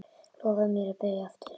Lofaðu mér að byrja aftur!